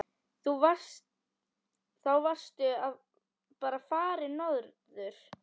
Þá varstu bara farinn norður.